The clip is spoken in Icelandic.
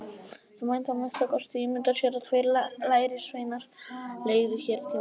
Það mætti að minnsta kosti ímynda sér að tveir lærisveinar leigðu hér tímabundið.